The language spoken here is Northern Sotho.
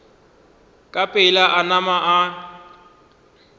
ka pela a nama a